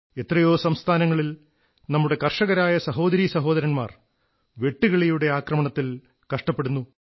എത്രയോ സംസ്ഥാനങ്ങളിൽ നമ്മുടെ കർഷകരായ സഹോദരീ സഹോദരർ വെട്ടുകിളികളുടെ ആക്രമണത്തിൽ കഷ്ടപ്പെടുന്നു